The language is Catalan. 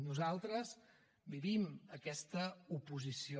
nosaltres vivim aquesta oposició